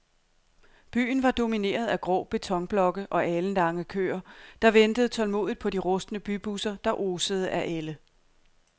Byen var domineret af grå betonblokke og alenlange køer, der ventede tålmodigt på de rustne bybusser, der osede af ælde.